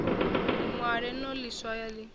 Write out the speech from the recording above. ṅwale no ḽi swaya ḽi